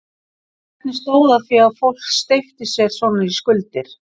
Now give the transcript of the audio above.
En hvernig stóð á því að fólk steypti sér í svona skuldir?